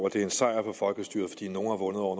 at det er en sejr for folkestyret fordi nogle har vundet over